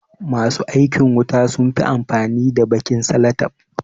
Ma su aikin wuta sun fi amfani da baƙin salatef.